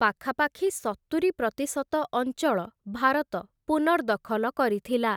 ପାଖାପାଖି ସତୁରି ପ୍ରତିଶତ ଅଞ୍ଚଳ ଭାରତ ପୁନର୍ଦଖଲ କରିଥିଲା ।